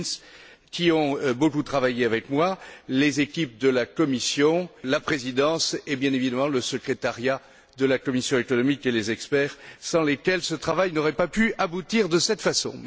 Klinz, qui ont beaucoup travaillé avec moi, les équipes de la Commission, la présidence et, bien évidemment, le secrétariat de la commission économique et les experts, sans lesquels ce travail n'aurait pas pu aboutir de cette façon.